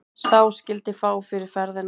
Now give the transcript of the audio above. Sá skyldi fá fyrir ferðina.